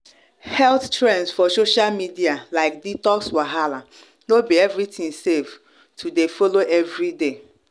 health trends for social media like detox wahala no be everything safe to dey follow every day